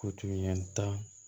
U tun ye ta